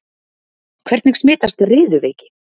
Hvernig smitast riðuveiki?